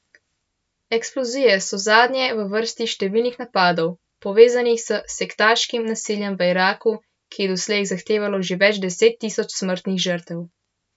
Eksplozije so zadnje v vrsti številnih napadov, povezanih s sektaškim nasiljem v Iraku, ki je doslej zahtevalo že več deset tisoč smrtnih žrtev.